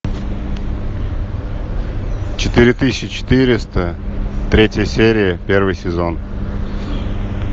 четыре тысячи четыреста третья серия первый сезон